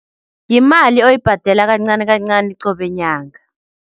Yimali oyibhadela kancani kancani qobe nyanga.